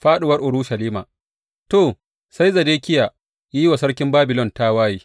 Fāɗuwar Urushalima To, sai Zedekiya ya yi wa sarkin Babilon tawaye.